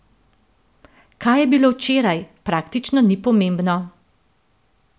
Kaj je bilo včeraj, praktično ni pomembno.